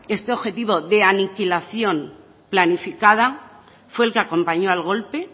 este objetivo de aniquilación planificada fue el que acompañó al golpe